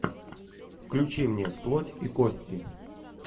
включи мне плоть и кости